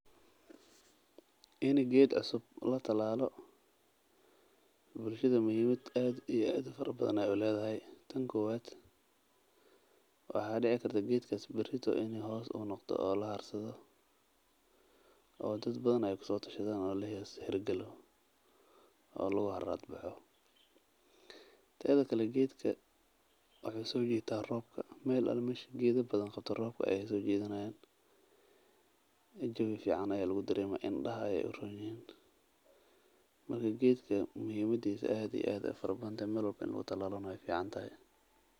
In geed asaga la talaalo bulshada muhimaad aad iyo aad ufican ayeey uledahay sababta oo ah waxaa dacdaa geedkaas barito inuu hoos yeesho oo dad badan aay hoos fadistaan roobka ayuu soo jiita aad iyo aad ayeey ufican tahay in la abuuro.